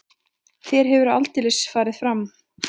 Þér hefur aldeilis farið fram.